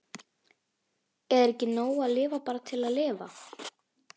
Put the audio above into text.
Er ekki nóg að lifa bara til að lifa?